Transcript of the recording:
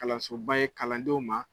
Kalansoba ye kalandenw ma